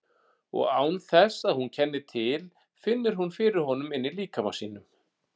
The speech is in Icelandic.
Og án þess að hún kenni til finnur hún fyrir honum inní líkama sínum.